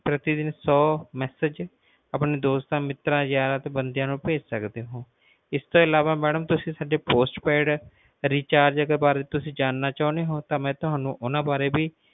ਪ੍ਰਤੀ ਦਿਨ ਸੌ message ਆਪਣੇ ਦੋਸਤਾਂ ਮਿੱਤਰਾ ਤੇ ਬੰਦਿਆਂ ਨੂੰ ਭੇਜ ਸਕਦੇ ਹੋ ਇਸ ਤੋਂ ਅਲਾਵਾ ਮੈਡਮ ਜੇ ਤੁਸੀਂ ਸਾਡੇ postpaid ਰੇਚਰਜਾਂ ਬਾਰੇ ਜਾਨਣਾ ਚਹੁਣੇ ਹੋ ਤਾ ਮੈਡਮ ਮਈ ਤੁਹਾਨੂੰ ਓਹਨਾ ਵਾਰੇ ਵੀ